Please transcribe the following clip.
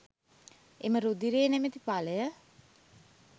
එම රුධිරය නමැති ඵලය